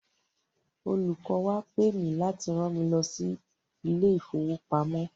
Olùkọ́ wa pe mì láti rán mi lọ sí ilé ìfowopamọ́.